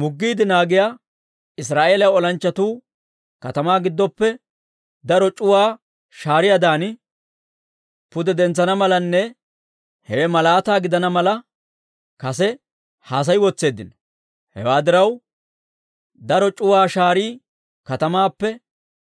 Muggiide naagiyaa Israa'eeliyaa olanchchatuu katamaa giddoppe daro c'uwaa shaariyaadan pude dentsana malanne hewe malaataa gidana mala, kase haasayi wotseeddino. Hewaa diraw, daro c'uwaa shaarii katamaappe